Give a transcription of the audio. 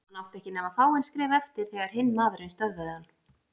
Hann átti ekki nema fáein skref eftir þegar hinn maðurinn stöðvaði hann.